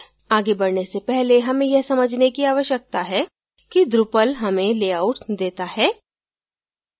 आगे बढने से पहले हमें यह समझने की आवश्यकता है कि drupal हमें layouts देता है